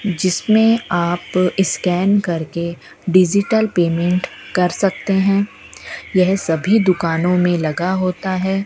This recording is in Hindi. जिसमें आप स्कैन करके डिजिटल पेमेंट कर सकते हैं यह सभी दुकानों मे लगा होता है।